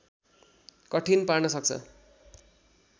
कठिन पार्न सक्छ